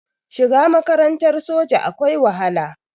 Shiga makarantar soja akwai wahala